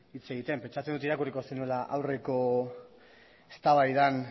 hitz egiten pentsatzen dut irakurriko zenuela aurreko eztabaidan